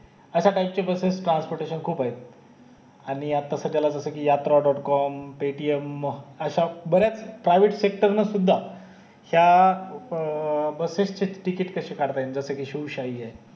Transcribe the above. अश्या टाईप चे buses transportation खूप आहे आणी आता सध्याला कि जस कि yatra dot com paytm हम्म अश्या बऱ्याच private sector सुद्धा या अं बसेसचे ticket कसे काढता येईल जसे कि शिवशाही हे